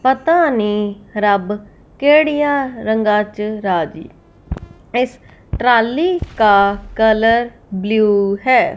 इस ट्राली का colour blue है।